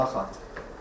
Allaha xatir.